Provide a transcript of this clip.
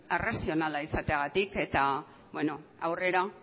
razionala izateagatik eta aurrera